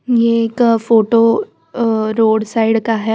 ये एक photo uh road side का है।